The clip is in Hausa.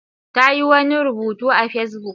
Ta yi wani rubutu a Facebook.